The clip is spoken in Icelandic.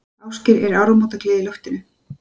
Ásgeir, er áramótagleði í loftinu?